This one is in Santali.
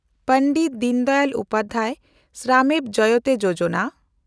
ᱯᱟᱱᱰᱤᱴ ᱫᱤᱱᱫᱟᱭᱟᱞ ᱩᱯᱟᱫᱷᱭᱟᱭ ᱥᱨᱟᱢᱮᱵ ᱡᱚᱭᱮᱛᱮ ᱭᱳᱡᱚᱱᱟ